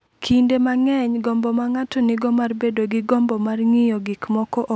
"Kinde mang’eny, gombo ma ng’ato nigo mar bedo gi gombo mar ng’iyo gik moko ok thum ka ng’ato